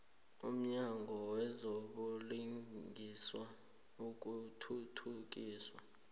umnyango wezobulungiswa nokuthuthukiswa